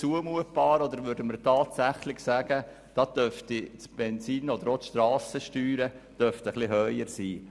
Dort dürften das Benzin oder auch die Strassensteuer vielleicht sogar etwas höher ausfallen.